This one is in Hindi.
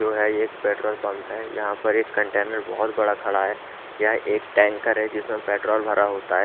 जो है ये एक पेट्रोल पंप है यहाँ पर एक कंटेनर बहुत बड़ा खड़ा है यह एक टैंकर है जिसमें पेट्रोल भरा होता है।